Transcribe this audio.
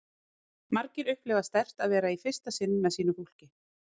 Margir upplifa sterkt að vera í fyrsta sinn með sínu fólki